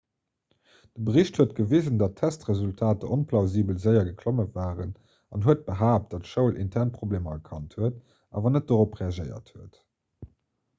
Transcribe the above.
de bericht huet gewisen datt testresultater onplausibel séier geklomme waren an huet behaapt datt d'schoul intern problemer erkannt huet awer net dorop reagéiert huet